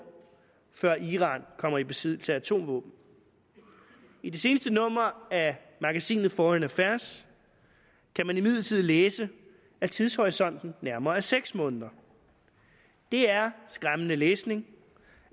før iran kommer i besiddelse af atomvåben i det seneste nummer af magasinet foreign affairs kan man imidlertid læse at tidshorisonten nærmere er seks måneder det er skræmmende læsning